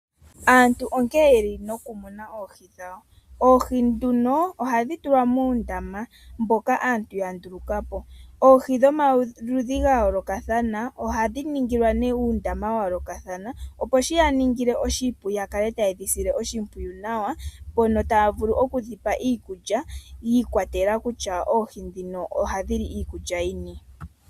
Aantu onkene oyeli nokumuna oohi dhawo. Oohi nduno ohadhi tulwa muundama mboka aantu yandulukapo. Oohi dhomaludhi gayoolokathana ohadhi ningilwa nee uundama wa yoolokathana opo shi yaningile oshipu ya kale tayedhi sile oshimpwiyu nawa mpono taya vulu oku dhipa iikulya yiikwatelela kutya oohi ndhino ohadhili iikulya yini.